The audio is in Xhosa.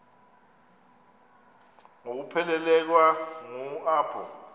ngokuphelekwa ngu apho